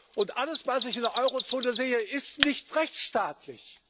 Und alles, was ich in der Euro Zone sehe, ist nicht rechtsstaatlich.